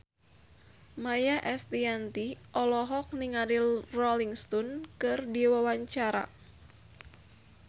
Maia Estianty olohok ningali Rolling Stone keur diwawancara